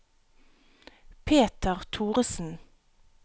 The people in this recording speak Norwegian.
Peter Thoresen